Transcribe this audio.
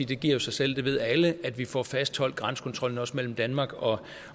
det giver jo sig selv det ved alle at vi får fastholdt grænsekontrollen også mellem danmark og